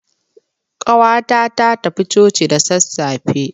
Ƙawata ta tafi coci da sassafe.